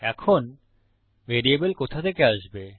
এখন ভ্যারিয়েবল কোথা থেকে আসবে